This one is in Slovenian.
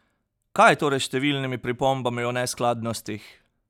Kaj je torej s številnimi pripombami o neskladnostih?